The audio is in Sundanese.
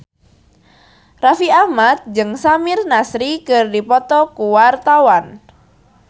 Raffi Ahmad jeung Samir Nasri keur dipoto ku wartawan